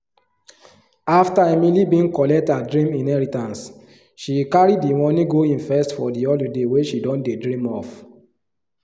after emily been collect her dream inheritance she carry the money go invest for the holiday wey she don dey dream of.